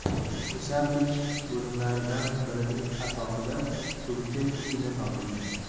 Nishablik bo‘limlardan birining asosida tulki ini topilgan.